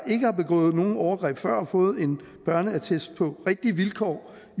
ikke har begået nogen overgreb før og fået en børneattest på rigtige vilkår